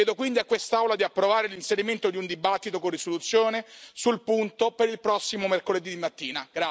Chiedo quindi a quest'Aula di approvare l'inserimento di un dibattito con risoluzione sul punto per il prossimo mercoledì mattina.